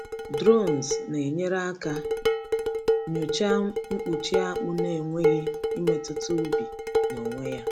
Drones na-enyere aka nyochaa mkpuchi akpụ n’enweghị imetụta ubi n’onwe ya.